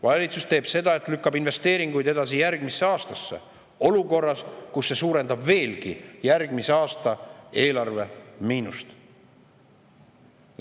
Valitsus teeb seda, et lükkab investeeringuid edasi järgmisse aastasse, ja seda olukorras, kus see suurendab veelgi järgmise aasta eelarve miinust.